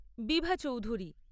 Bibha Chowdhury